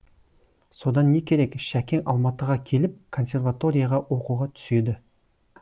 содан не керек шәкең алматыға келіп консерваторияға оқуға түседі